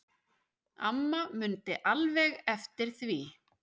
Amma mundi alveg eftir því.